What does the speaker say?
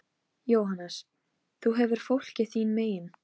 Tólf tíma sigling var talin ágæt ferð.